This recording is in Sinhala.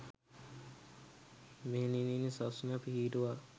මෙහෙණි සස්න පිහිටුවා